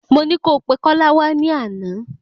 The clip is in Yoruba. Mọ ní kó pẹ Kola wá ní àná